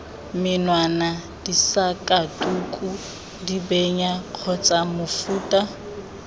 menwana disakatuku dibenya kgotsa mofuta